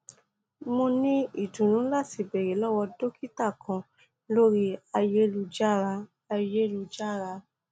mo ni idunnu lati beere lọwọ dokita kan lori ayelujara ayelujara